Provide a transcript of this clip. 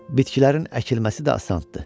Bitkilərin əkilməsi də asandır.